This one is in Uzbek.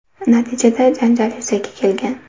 Natijada janjal yuzaga kelgan.